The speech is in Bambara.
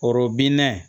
Koro bina